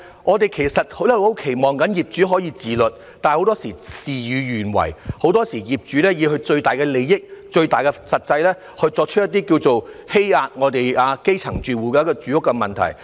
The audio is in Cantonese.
我們其實很期望業主可以自律，但很多時事與願違，業主以最大的利益、最大的實際考慮，做出一些"欺壓"我們基層住戶的住屋問題。